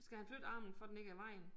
Skal han flytte armen for den ikke er i vejen